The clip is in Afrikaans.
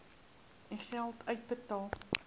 u geld uitbetaal